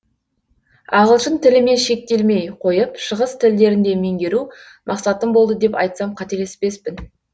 ағылшын тілімен шектелмей қойып шығыс тілдерін де меңгеру мақсатым болды деп айтсам қателеспеспін